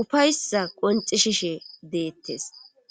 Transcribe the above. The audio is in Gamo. ufaysa qonxi shishe deettes.